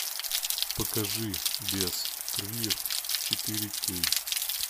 покажи без крыльев четыре кей